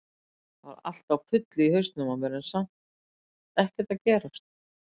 Það var allt á fullu í hausnum á mér en samt ekkert að gerast.